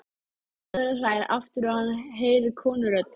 Maðurinn hlær aftur og hann heyrir konurödd.